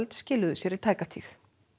skiluðu sér í tæka tíð